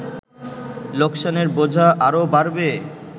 লোকসানের বোঝা আরো বাড়বে